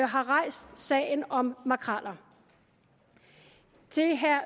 har rejst sagen om makreller til herre